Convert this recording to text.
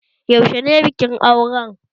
Yaushe ne bikin auren?